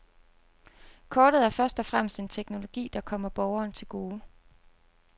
Kortet er først og fremmest en teknologi, der kommer borgeren til gode.